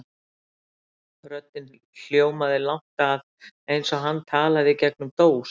Röddin hljómaði langt að, eins og hann talaði í gegnum dós.